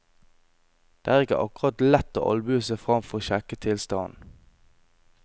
Det er ikke akkurat lett å albue seg frem for å sjekke tilstanden.